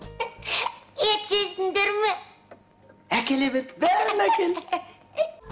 ет жейсіндер ме әкеле бер бәрін әкел